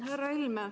Härra Helme!